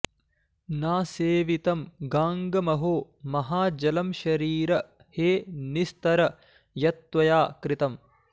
न सेवितं गाङ्गमहो महाजलं शरीर हे निस्तर यत्त्वया कृतम्